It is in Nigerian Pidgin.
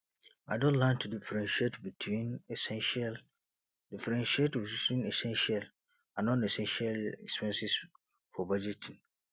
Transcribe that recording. i don learn to differentiate between essential differentiate between essential and nonessential expenses for budgeting